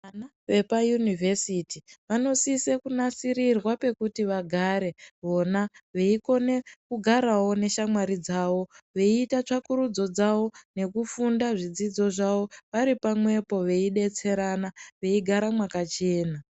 Vana vepayunivhesiti vanosise kunasirirwa pekuti vagare pona veikone kugaravo meshamwari dzavo. Veiita tsvakurudzo dzavo nekufunda zvidzidzo zvavo varipamwepo veibetserana, veigara mwakachena.